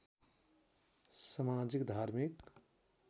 समाजिक धार्मिक